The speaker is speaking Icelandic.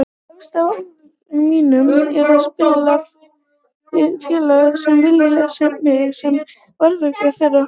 Efst á óskalistanum mínum er að spila fyrir félag sem vill mig sem markvörð þeirra.